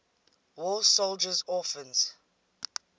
war soldiers orphans